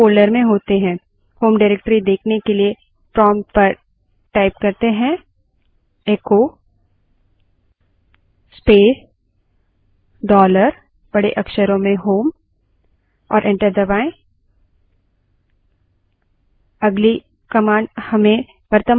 Linux system पर जब हम login करते हैं स्वतः से home directory में होते हैं home directory देखने के लिए prompt पर echo space dollar home type करें और enter दबायें